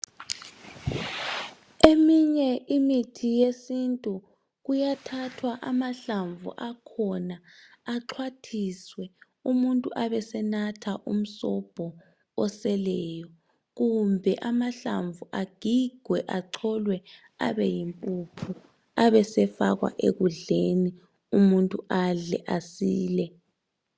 Eminye imithi yesintu kuyathathwa amahlamvu akhona axhwathiswe umuntu abesenatha umusobho oseleyo kumbe amahlamvu agigwe acholwe abeyimpuphu abesefakwa ekudleni umuntu adle asile.